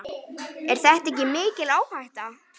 Er þetta ekki mikil áhætta?